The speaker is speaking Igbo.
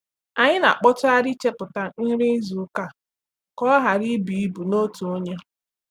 Anyị na-akpọtụgharị ichepụta nri izu ụka ka ọ ghara ibu ibu n’otu onye.